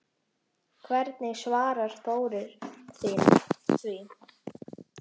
Hvernig svarar Þórir því?